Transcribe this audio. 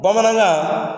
Bamanankan